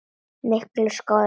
Miklu skárra.